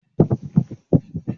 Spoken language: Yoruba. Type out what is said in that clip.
Ṣé wàá ṣe ayẹyẹ àjíǹde ní iléèwé?